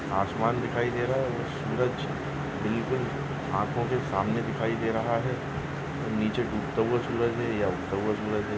आसमान दिखाई दे रहा है सूरज बिल्कुल आँखों के सामने दिखाई दे रहा है नीचे डूबता हुआ सूरज है या उगता हुआ सूरज हैं।